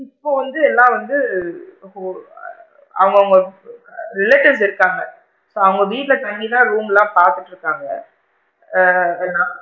இப்போ வந்து எல்லாரும் வந்து இப்போ ஆ அவுங்க அவுங்க relatives இருக்காங்க so அவுங்க வீட்ல தங்கி தான் room லா பாத்துட்டு இருக்காங்க ஆ நான்,